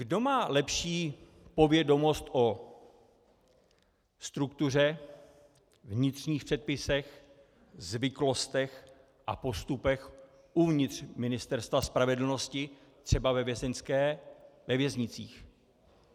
Kdo má lepší povědomost o struktuře, vnitřních předpisech, zvyklostech a postupech uvnitř Ministerstva spravedlnosti, třeba ve věznicích?